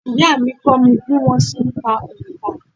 Ìyá à mí kó mi bí wọ́n se n ka onkà